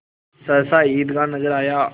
सहसा ईदगाह नजर आया